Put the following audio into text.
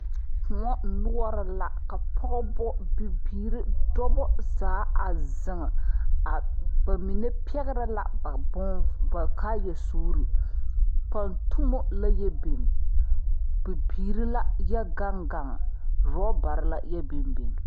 Koɔ noɔre la ka pɔgeba bibiiri dɔba zaa a zeŋ ba mine pɛgrɛ la ba bon ba kaayasuurii pantumo la yɛ biŋ bibirii la yɛ gaŋ gaŋ orɔbare la yɛ biŋ biŋ.